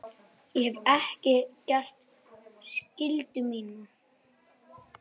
Ég hef ekki gert skyldu mína.